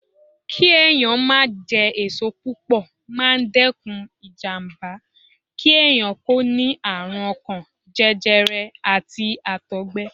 Kí ẹ̀yàn máa jẹ èso púpọ̀ máa ń dẹ́kun ìjàmbá kí ẹ̀yàn kó ní àrùn ọkàn, jẹjẹrẹ, àti Àtọ̀gbẹ.